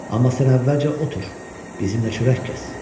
Amma sən əvvəlcə otur, bizimlə çörək kəs.